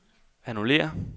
annullér